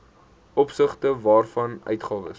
opsigte waarvan uitgawes